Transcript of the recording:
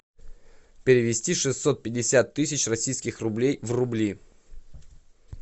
перевести шестьсот пятьдесят тысяч российских рублей в рубли